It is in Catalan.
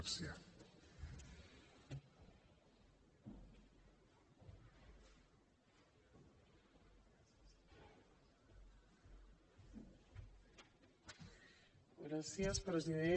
gràcies president